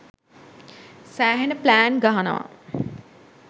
සෑහෙන්න ප්ලෑන් ගහනවා.